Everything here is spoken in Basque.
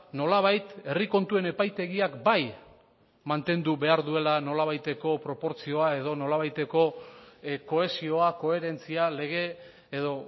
nolabait herri kontuen epaitegiak bai mantendu behar duela nolabaiteko proportzioa edo nolabaiteko kohesioa koherentzia lege edo